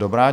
Dobrá.